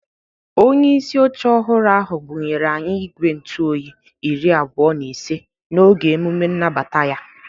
Onyeisi oche ọhụrụ ahụ bụnyere anyi igwe ntụoyi iri abụọ na ise n'oge emume inabata ya